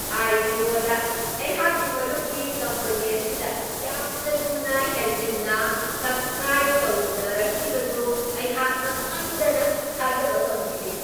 ꯑꯥꯏ.ꯄꯤ.ꯑꯣ.ꯗ ꯑꯩꯍꯥꯛꯀꯤ ꯃꯔꯨꯞꯀꯤ ꯀꯝꯄꯅꯤ ꯑꯁꯤꯗ ꯌꯥꯝꯅ ꯊꯨꯅ ꯍꯦꯟꯖꯤꯟꯅ ꯁꯕꯁ꯭ꯀ꯭ꯔꯥꯏꯕ ꯇꯧꯅꯔꯛꯈꯤꯕꯗꯨ ꯑꯩꯍꯥꯛ ꯉꯛꯃꯟꯗꯅ ꯊꯥꯖꯕ ꯉꯝꯈꯤꯗꯦ ꯫